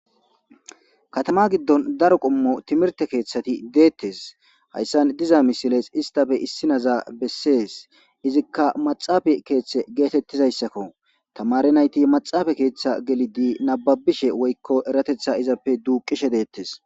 Katama gidon daro qomo timirte ketati detees hasan diza misilezi istappe isinoza besees izika maxafa ketha getetidayisako tamare nayiti maxafa ketha gelidi nababishe woyiko eretetha izappe duqishe detees